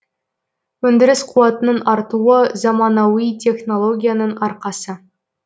өндіріс қуатының артуы заманауи технологияның арқасы